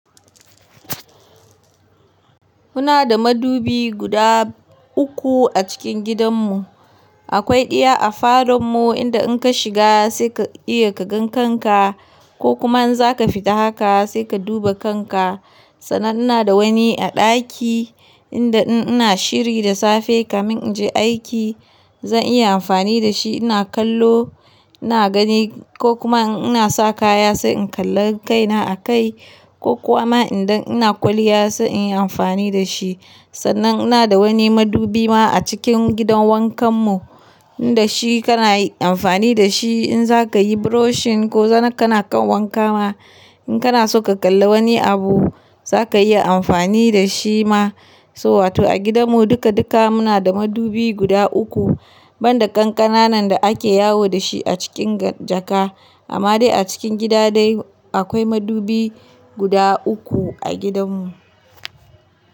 Muna da madubi guda uku a cikin gidanmu. Akwai ɗaya a falon mu inda in ka shiga sai ka iya ka ga kanka ko kuma in za ka fita haka sai ka duba kanka. Sannan ina da wani a ɗaki inda in ina shiri da safe kamin in je aiki zan iya amfani da shi. Ina kallo, ina gani ko kuma in ina sa kaya sai in kalla kaina a kai ko kuma idan ina kwalliya sai in yi amfani da shi. Sannan ina da wani madubi ma a cikin gidan wankanmu inda shi kana amfani da shi in za ka yi brushing ko zan kana kan wanka ma. In kana so ka kalla wani abu za ka iya amfani da shi ma. So wato a gidanmu duka duka muna da madubi guda uku banda ƙanƙananan da ake yawo da shi a cikin jaka. Amma dai a cikin gida dai akwai madubi guda uku a gidanmu.